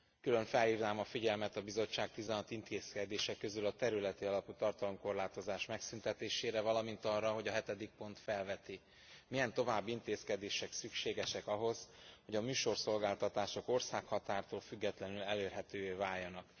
Külön felhívnám a figyelmet a Bizottság 16 intézkedése közül a területi alapú tartalomkorlátozás megszüntetésére, valamint arra, hogy a hetedik pont felveti, milyen további intézkedések szükségesek ahhoz, hogy a műsorszolgáltatások országhatártól függetlenül elérhetővé váljanak.